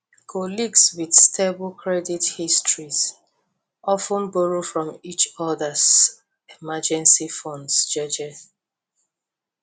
colleagues wit stable credit histories of ten borrow from each odas emergency funds jeje